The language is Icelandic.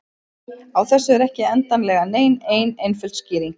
Á þessu er ekki endilega nein ein einföld skýring.